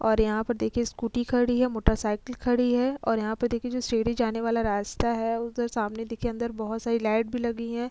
और यहां पर देखिए स्कूटी खड़ी है मोटरसाइकिल खड़ी है और यहां पर देखिए जो सीढ़ी जाने वाला रास्ता है उधर सामने देखिए अंदर बहौत सारी लाइट भी लगी हैं।